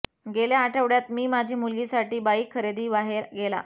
गेल्या आठवड्यात मी माझी मुलगी साठी बाईक खरेदी बाहेर गेला